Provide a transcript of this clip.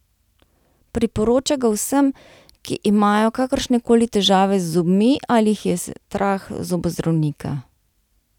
Priporoča ga vsem, ki imajo kakršne koli težave z zobmi ali jih je strah zobozdravnika.